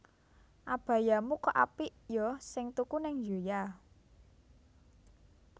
Abayamu kok apik yo sing tuku ning Zoya